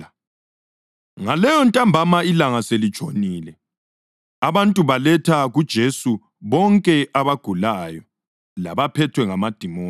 Ngaleyontambama ilanga selitshonile abantu baletha kuJesu bonke abagulayo labaphethwe ngamadimoni.